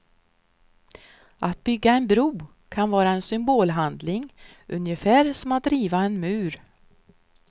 Att bygga en bro kan vara en symbolhandling, ungefär som att riva en mur.